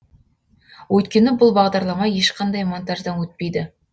өйткені бұл бағдарлама ешқандай монтаждан өтпейді